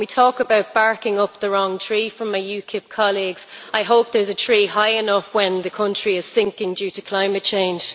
When we talk about barking up the wrong tree with our UKIP colleagues, I hope there is a tree high enough when the country is sinking due to climate change.